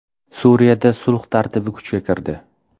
Suriyada sulh tartibi kuchga kirdi.